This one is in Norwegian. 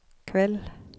kveld